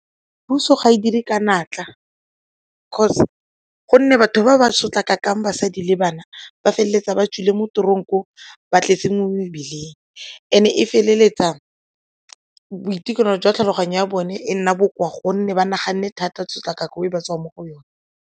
Puso ga e dire ka natla 'cause gonne batho ba ba sotlakakang basadi le bana ba feleletsa ba tswile mo tronk-ong, ba tletse mo mebileng and e feleletsa boitekanelo jwa tlhaloganyo ya bone e nna bokoa gonne ba naganne thata tshotlakako e ba tswang mo go yone.